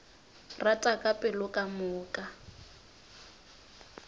rata ka pelo ka moka